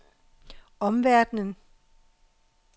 omverdenen